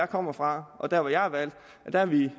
kommer fra og der hvor jeg er valgt ville